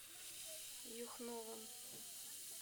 юхновым